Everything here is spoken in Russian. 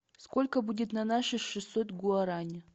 сколько будет на наши шестьсот гуарани